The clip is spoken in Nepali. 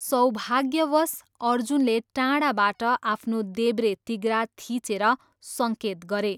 सौभाग्यवश, अर्जुनले टाढाबाट आफ्नो देब्रे तिघ्रा थिचेर सङ्केत गरे।